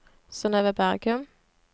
Synøve Bergum